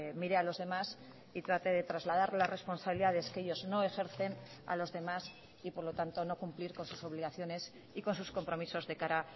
mire a los demás y trate de trasladar las responsabilidades que ellos no ejercen a los demás y por lo tanto no cumplir con sus obligaciones y con sus compromisos de cara